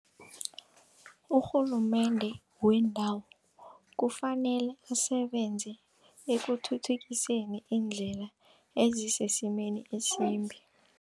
Urhulumende wendawo kufanele asebenze ekuthuthukiseni indlela ezisesimeni esimbi.